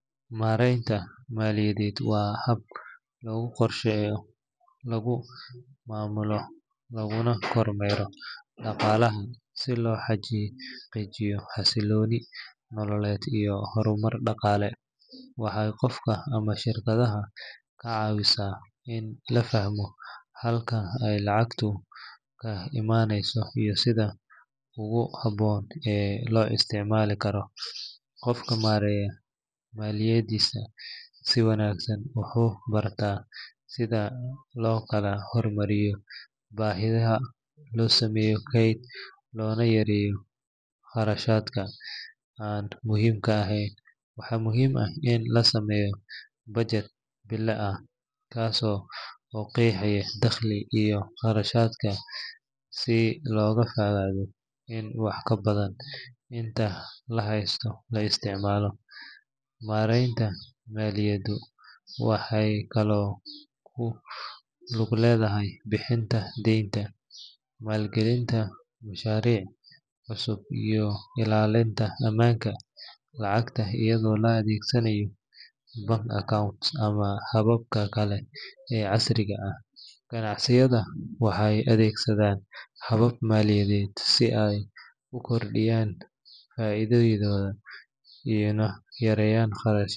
Maareynta maaliyadda waa habka lagu qorsheeyo, lagu maamulo, laguna kormeero dhaqaalaha si loo xaqiijiyo xasilooni nololeed iyo horumar dhaqaale. Waxay qofka ama shirkadda ka caawisaa in la fahmo halka ay lacagtu ka imanayso iyo sida ugu habboon ee loo isticmaali karo. Qofka maareeya maaliyaddiisa si wanaagsan wuxuu bartaa sida loo kala hormariyo baahiyaha, loo sameeyo kayd, loona yareeyo kharashaadka aan muhiimka ahayn. Waxaa muhiim ah in la sameeyo budget bille ah kaas oo qeexaya dakhliga iyo kharashaadka si looga fogaado in wax ka badan inta la haysto la isticmaalo. Maareynta maaliyaddu waxay kaloo ku lug leedahay bixinta deynta, maalgelinta mashaariic cusub, iyo ilaalinta amaanka lacagta iyadoo la adeegsanayo bank accounts ama hababka kale ee casriga ah. Ganacsiyada waxay adeegsadaan habab maaliyadeed si ay u kordhiyaan faa’iidadooda una yareeyaan.